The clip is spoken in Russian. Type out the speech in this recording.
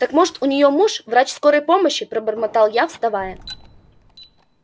так может у нее муж врач скорой помощи пробормотал я вставая